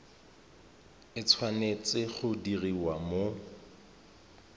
e tshwanetse go diriwa mo